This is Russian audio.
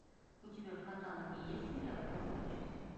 у тебя в каталоге есть сериал восьмое чувство